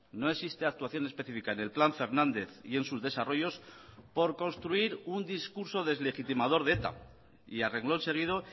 no existe actuación específica en el plan fernández y en sus desarrollos por construir un discurso deslegitimador de eta y a renglón seguido